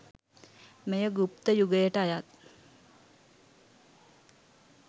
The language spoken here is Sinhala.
මෙය ගුප්ත යුගයට අයත්